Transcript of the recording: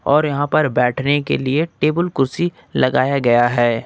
और यहां पर बैठने के लिए टेबल कुर्सी लगाया गया है।